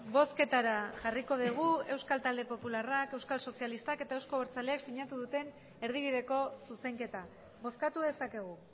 bozketara jarriko dugu euskal talde popularrak euskal sozialistak eta euzko abertzaleak sinatu duten erdibideko zuzenketa bozkatu dezakegu